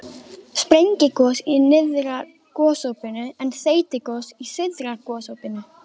Sprengigos í nyrðra gosopinu en þeytigos í syðra gosopinu.